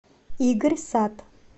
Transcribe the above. игорь сат